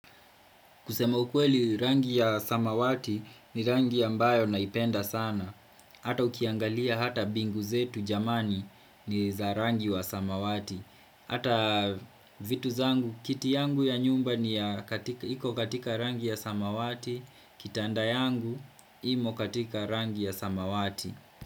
Kusema ukweli rangi ya samawati ni rangi ambayo naipenda sana. Hata ukiangalia hata bingu zetu jamani ni za rangi wa samawati. Hata vitu zangu, kiti yangu ya nyumba ni ya katika, iko katika rangi ya samawati, kitanda yangu, imo katika rangi ya samawati.